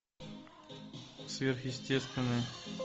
сверхъестественное